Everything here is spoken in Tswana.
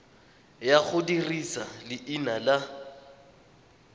ya go dirisa leina la